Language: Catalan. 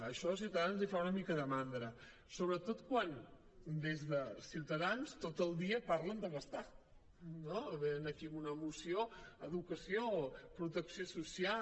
això a ciutadans els fa una mica de mandra sobretot quan des de ciutadans tot el dia parlen de gastar no venen aquí amb una moció educació protecció social